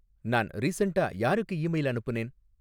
நான் ரீசண்ட்டா யாருக்கு ஈமெயில் அனுப்புனேன்